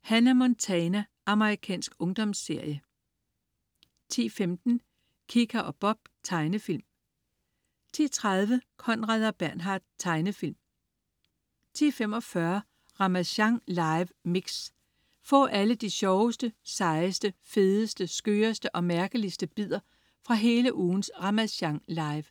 Hannah Montana. Amerikansk ungdomsserie 10.15 Kika og Bob. Tegnefilm 10.30 Conrad og Bernhard. Tegnefilm 10.45 Ramasjang live Mix. Få alle de sjoveste, sejeste, fedeste, skøreste og mærkeligste bidder fra hele ugens "Ramasjang live"